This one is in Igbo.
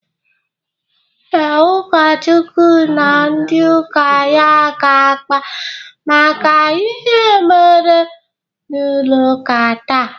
Ee, ụkọchukwu na ndị ụka ya ga-akpa maka ihe mere n'ụlọ ụka taa.